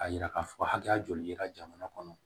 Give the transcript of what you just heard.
A yira k'a fɔ hakɛya joli yera jamana kɔnɔ